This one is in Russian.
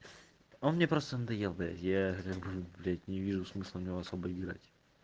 он мне просто надоел блядь я блядь не вижу смысла в него особо играть